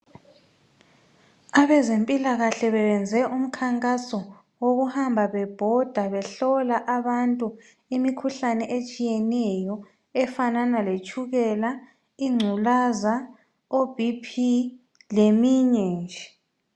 Abezempilakahle bebenze umkhankaso wokuhamba bebhoda behlola abantu imikhuhlane etshiyeneyo efanana letshukela ,ingculazi ,o bp leminye nje.